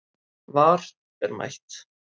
VAR er mætt